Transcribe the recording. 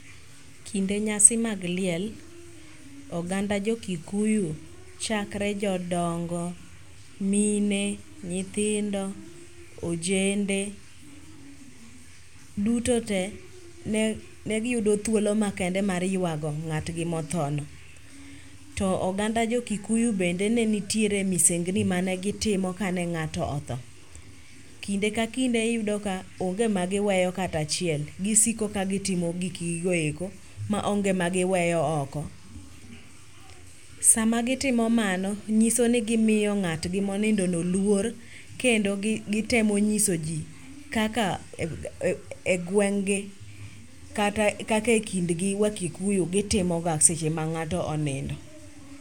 Kinde nyasi mag liel, oganda jo kikuyu chakre jodongo, mine, nyithindo, ojende duto te ne giyudo thuolo makende mar yuago ng'atgi mothono. To oganda jokikuyu bende ne nitiere misengni manegitimo ka ne ng'ato otho. Kinde ka kinde iyudo ka onge magiweyo kata achiel gisiko ka gitimo gikgi go eko maonge magiweyo oko. Sama gitimo mano, ng'iso ni gimiyo ng'atgi monindono luor, kendo gitemo ng'isoji kaka e gweng'gi kata e kindgi wakikuyu gitimoga seche ma ng'ato onindo.